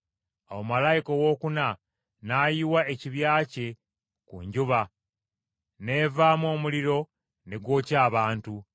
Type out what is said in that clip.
Awo malayika owookuna n’ayiwa ekibya kye ku njuba, n’evaamu omuliro ne gwokya abantu.